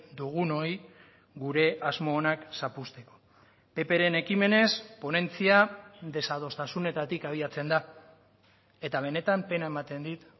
dugunoi gure asmo onak zapuzteko ppren ekimenez ponentzia desadostasunetatik abiatzen da eta benetan pena ematen dit